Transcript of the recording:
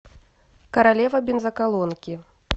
королева бензоколонки